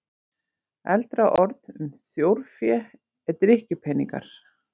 Eldra orð um þjórfé er drykkjupeningar.